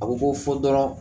A bɛ bɔ fo dɔrɔn